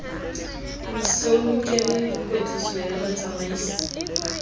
so lokele kwetliso ya batsamaisi